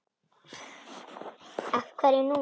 Af hverju núna?